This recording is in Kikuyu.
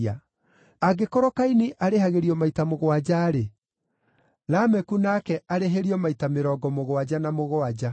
Angĩkorwo Kaini arĩhagĩrio maita mũgwanja-rĩ, Lameku nake akarĩhĩrio maita mĩrongo mũgwanja na mũgwanja.”